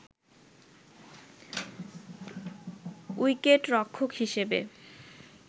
উইকেটরক্ষক হিসেবে